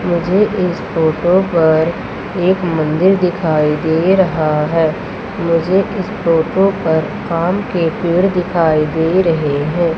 मुझे इस फोटो पर एक मंदिर दिखाई दे रहा है मुझे इस फोटो पर आम के पेड़ दिखाई दे रहे हैं।